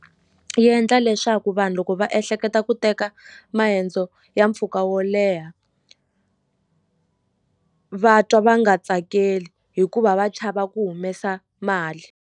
Yi endla leswaku vanhu loko va ehleketa ku teka maendzo ya mpfhuka wo leha va twa va nga tsakeli hikuva va chava ku humesa mali.